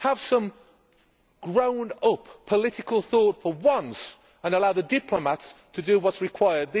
Have some grown up political thought for once, and allow the diplomats to do what is required.